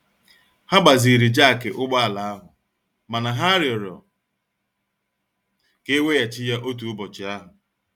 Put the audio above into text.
Ha gbaziri jakị ụgbọ ala ahụ mana ha rịọrọ ka e weghachi ya otu ụbọchị ahụ.